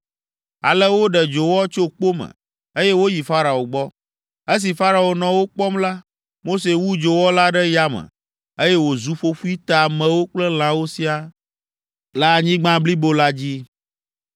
Ale woɖe dzowɔ tso kpo me, eye woyi Farao gbɔ. Esi Farao nɔ wo kpɔm la, Mose wu dzowɔ la ɖe yame, eye wòzu ƒoƒoe te amewo kple lãwo siaa le anyigba blibo la dzi.